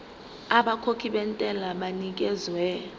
abakhokhi bentela banikezwa